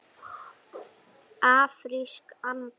Afrísk armbönd?